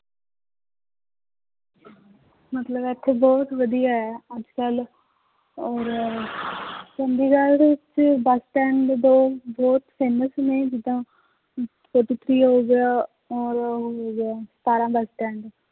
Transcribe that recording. ਮਤਲਬ ਇੱਥੇ ਬਹੁਤ ਵਧੀਆ ਹੈ ਅੱਜ ਕੱਲ੍ਹ ਔਰ ਚੰਡੀਗੜ੍ਹ ਵਿੱਚ ਬਸ stand ਵੀ ਬਹੁਤ ਬਹੁਤ famous ਨੇ ਜਿੱਦਾਂ ਅਮ ਹੋ ਗਿਆ, ਔਰ ਉਹ ਹੋ ਗਿਆ ਸਤਾਰਾਂ